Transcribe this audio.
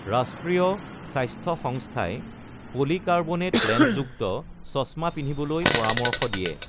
ৰাষ্ট্ৰীয় স্বাস্থ্য সংস্থাই পলিকাৰ্বনেট লেন্সযুক্ত চছমা পিন্ধিবলৈ পৰামৰ্শ দিয়ে।